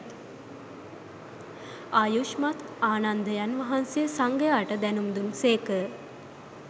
ආයුෂ්මත් ආනන්දයන් වහන්සේ සංඝයාට දැනුම් දුන් සේක